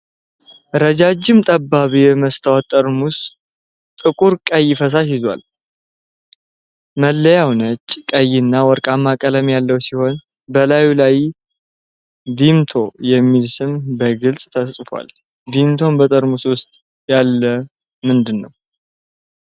ረጃጅም ጠባብ የመስታወት ጠርሙስ ጥቁር ቀይ ፈሳሽ ይዟል። መለያው ነጭ፣ ቀይ እና ወርቃማ ቀለም ያለው ሲሆን በላዩ ላይ “ቪምቶ” የሚል ስም በግልጽ ተጽፏል። ቪምቶ በጠርሙሱ ውስጥ ያለው ምንድን ነው?